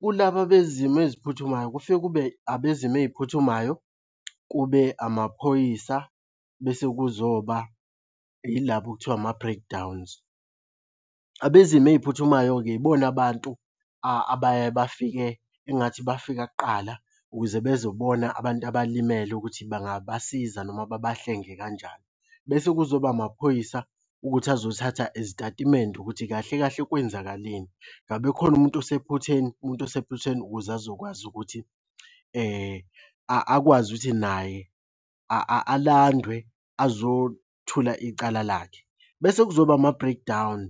Kulaba bezimo eziphuthumayo, kufike kube abezimo ey'phuthumayo, kube amaphoyisa, bese kuzoba yilaba okuthiwa ama-breakdowns. Abezimo ey'phuthumayo-ke yibona abantu abaye bafike engathi bafika kuqala ukuze bezobona abantu abalimele ukuthi bangabasiza noma babahlenge kanjani. Bese kuzoba amaphoyisa ukuthi azothatha izitatimende ukuthi kahle kahle kwenzakaleni, ngabe khona umuntu osephutheni? Umuntu osephutheni ukuze azokwazi ukuthi akwazi ukuthi naye alandwe azothula icala lakhe. Bese kuzoba ama-breakdown,